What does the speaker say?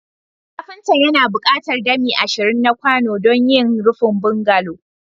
Kafinta yana buƙatar dami ashirin na kwano don yin rufin bungalow